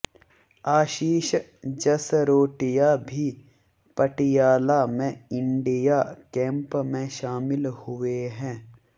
आशीष जसरोटिया भी पटियाला में India camp में शामिल हुए हैं